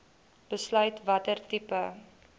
besluit watter tipe